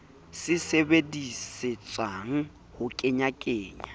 se di sebedisetsang ho kenyakenyana